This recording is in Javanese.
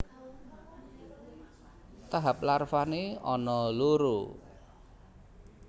Tahap larvané ana loro